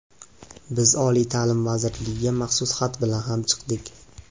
Biz oliy ta’lim vazirligiga maxsus xat bilan ham chiqdik.